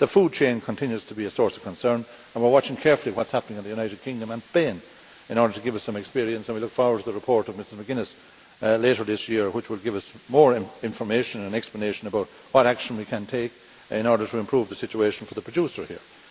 The food chain continues to be a source of concern, and we are watching carefully what is happening in the United Kingdom and Spain in order to give us some experience, and we look forward to the report of Ms McGuinness later this year, which will give us more information and explanation about what action we can take in order to improve the situation for the producer here.